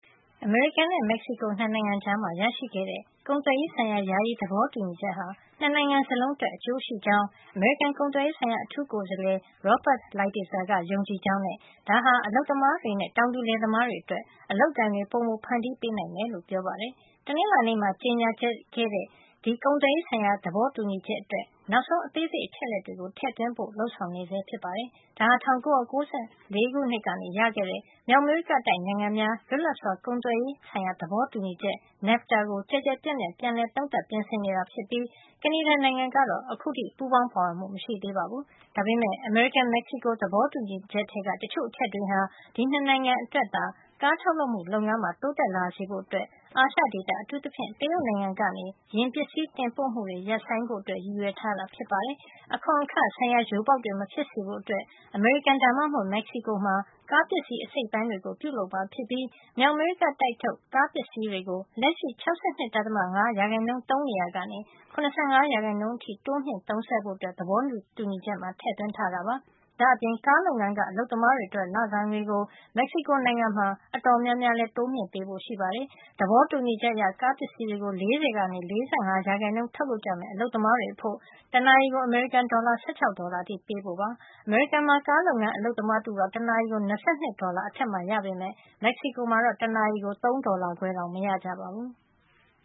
အမေရိကန်နဲ့ မက်ဆီကို ၂ နိုင်ငံကြား ရရှိခဲ့တဲ့ ကုန်သွယ်ရေးဆိုင်ရာ ယာယီသဘောတူညီချက်ဟာ ၂ နိုင်ငံစလုံးအတွက် အကျိုးရှိကြောင်း အမေရိကန်ကုန်သွယ်ရေး ဆိုင်ရာ အထူးကိုယ်စားလှယ် Robert Lighthizer ကယုံကြည်ကြောင်းနဲ့ ဒါဟာ အလုပ်သမားတွေနဲ့ တောင်သူလယ်သမားတွေအတွက် အလုပ်အကိုင်တွေ ပိုမိုဖန်တီးပေးနိုင်မယ်လို့ ပြောပါတယ်။ တနင်္လာနေ့မှာ ကြေညာခဲ့တဲ့ ဒီကုန်သွယ်ရေးဆိုင်ရာ သဘောတူညီချက်အတွက် နောက်ဆုံးအသေးစိတ် အချက်အလက်တွေကို ထည့်သွင်းဖို့ လုပ်ဆောင်နေဆဲ ဖြစ်ပါတယ်။ ဒါဟာ ၁၉၉၄ ခုနှစ် က ရခဲ့တဲ့ မြောက်အမေရိကတိုက်နိုင်ငံများ လွတ်လပ်စွာကုန်သွယ်ရေး သဘောတူညီချက် NAFTA ကို ကျယ်ကျယ်ပြန့်ပြန့် ပြန်လည်သုံးသပ် ပြင်ဆင်နေတာ ဖြစ်ပြီး ကနေဒါနိုင်ငံကတော့ အခုထိ ပူးပေါင်းပါဝင်မှု မရှိသေးပါဘူး။ ဒါပေမယ့် အမေရိကန် - မက်ဆီကို သဘောတူညီချက် ထဲက တချို့ အချက်တွေဟာ ဒီ ၂ နိုင်ငံ အတွက် ကားထုတ်လုပ်မှု လုပ်ငန်းမှာ တိုးတက်လာစေဖို့ အာရှ ဒေသ အထူးသဖြင့် တရုတ်နိုင်ငံကနေ ယာဉ်ပစ္စည်း တင်ပို့မှုတွေ ရပ်ဆိုင်ဖို့ ရည်ရွယ်ထားတာ ဖြစ်ပါတယ်။ အခွန်အခဆိုင်ရာ ယိုပေါက်တွေ မဖြစ်စေဖို့အတွက် အမေရိကန် ဒါမှမဟုတ် မက်ဆီကိုမှာ ကားပစ္စည်းအစိတ်အပိုင်းတွေကို ပြုလုပ်မှာ ဖြစ်ပြီး မြောက်အမေရိကတိုက်ထုတ် ကားပစ္စည်းတွေကို လက်ရှိ ၆၂. ၅ % သုံးနေရာကနေ ၇၅ % အထိ တိုးမြှင့်ဖို့ သဘောတူညီချက်မှာ ထည့်သွင်းထားတာပါ။ ဒါ့အပြင် ကားလုပ်ငန်းက အလုပ်သမားတွေ အတွက် လစာငွေကို မက်ဆီကိုနိုင်ငံမှာ အတော်များများ တိုးမြှင့်ပေးဖို့ ရှိပါတယ်။ သဘောတူညီချက်အရ ကားပစ္စည်း တွေကို ၄၀ ကနေ ၄၅ % ထုတ် လုပ်ကြမယ့် အလုပ်သမားတွေအဖို့ တနာရီကို အမေရိကန်ဒေါ်လာ ၁၆ ဒေါ်လာ အထိ ပေးဖို့ ဖြစ်ပါတယ်။ အမေရိကန်မှာ ကားလုပ်ငန်း အလုပ်သမားတဦးဟာ တနာရီကို ၂၂ ဒေါ်လာ အထက်မှာ ရပေမယ့် မက်ဆီကို မှာတော့ တနာရီကို ၃ ဒေါ်လာခွဲတောင် မရကြပါဘူး။